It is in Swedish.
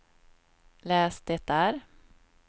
läs det där